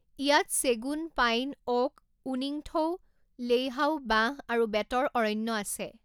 ইয়াত চেগুন, pine, oak, উনিংথৌ, লেইহাও, বাঁহ, আৰু বেতৰ অৰণ্য আছে।